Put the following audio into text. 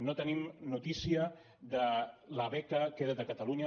no tenim notícia de la beca queda’t a catalunya